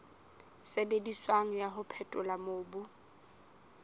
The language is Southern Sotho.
sebediswang wa ho phethola mobu